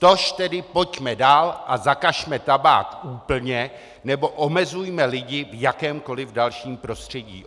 Tož tedy pojďme dál a zakažme tabák úplně nebo omezujme lidi v jakémkoliv dalším prostředí.